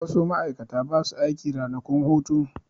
Wasu ma'aikata ba su aiki ranakun hutu.